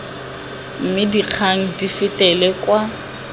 mme dikgang di fetele kwa